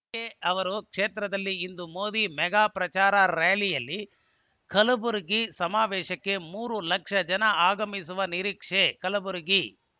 ಖರ್ಗೆ ತವರು ಕ್ಷೇತ್ರದಲ್ಲಿ ಇಂದು ಮೋದಿ ಮೆಗಾ ಪ್ರಚಾರ ರಾರ‍ಯಲಿ ಕಲಬುರಗಿ ಸಮಾವೇಶಕ್ಕೆ ಮೂರು ಲಕ್ಷ ಜನ ಆಗಮನ ನಿರೀಕ್ಷೆ ಕಲಬುರಗಿ